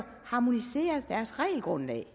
harmonisere deres regelgrundlag